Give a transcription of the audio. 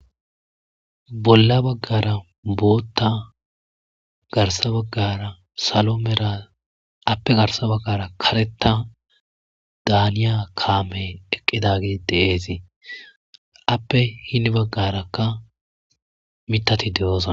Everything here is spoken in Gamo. bolla baggara bootta garsa baggara salomera appe garsa baggara kareta daaniya kaamey eqqidagi deeesii appe hinni baggarakka mitati de7oza